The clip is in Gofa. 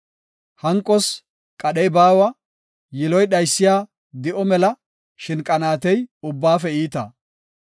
Hanqos qadhey baawa; yiloy dhaysiya di7o mela; shin qanaatey ubbaafe iita.